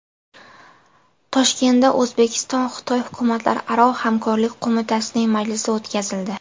Toshkentda O‘zbekiston-Xitoy hukumatlararo hamkorlik qo‘mitasining majlisi o‘tkazildi.